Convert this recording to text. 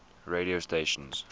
radio stations